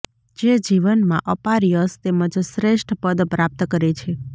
જે જીવનમાં અપાર યશ તેમજ શ્રેષ્ઠ પદ પ્રાપ્ત કરે છે